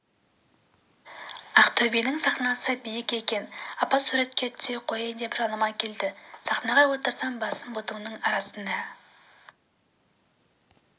ақтөбенің сахнасы биік екен апа суретке түсе қояйын деп жаныма келді сахнаға отырсам басым бұтымның арасына